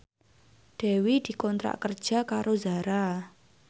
Dewi dikontrak kerja karo Zara